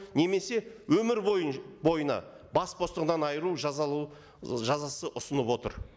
немесе өмір бойына бас бостығынан айыру жазасы ұсынып отыр